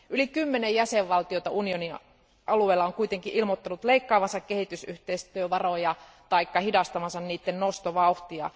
Yli kymmenen jäsenvaltiota unionin alueella on kuitenkin ilmoittanut leikkaavansa kehitysyhteistyövaroja tai hidastavansa niiden nostovauhtia.